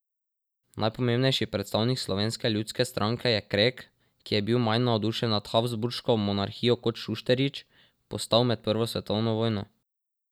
Najpomembnejši predstavnik Slovenske ljudske stranke je Krek, ki je bil manj navdušen nad Habsburško monarhijo kot Šusteršič, postal med prvo svetovno vojno.